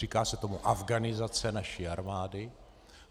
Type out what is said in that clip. Říká se tomu afghanizace naší armády.